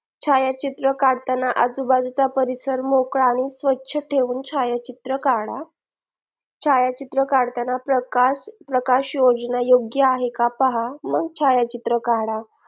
छायाचित्र काढताना आजूबाजूचा परिसर मोकळा आणि स्वच्छ ठेवून छायाचित्र काढा छायाचित्र काढताना प्रकाश योजना योग्य आहे का पहा मग छायाचित्र काढा